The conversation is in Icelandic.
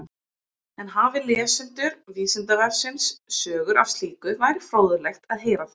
En hafi lesendur Vísindavefsins sögur af slíku væri fróðlegt að heyra þær.